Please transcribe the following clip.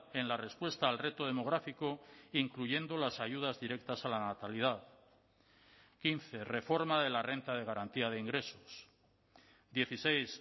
en la respuesta al reto demográfico incluyendo las ayudas directas a la natalidad quince reforma de la renta de garantía de ingresos dieciséis